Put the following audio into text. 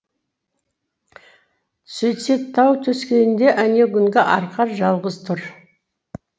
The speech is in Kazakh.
сөйтсе тау төскейінде әнеугүнгі арқар жалғыз тұр